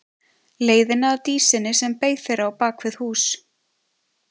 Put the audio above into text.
Leiðina að Dísinni sem beið þeirra á bak við hús.